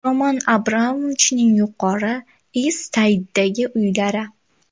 Roman Abramovichning Yuqori Ist-Sayddagi uylari.